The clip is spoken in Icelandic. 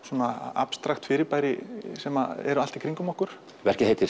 abstrakt fyrirbæri sem eru allt í kringum okkur verkið heitir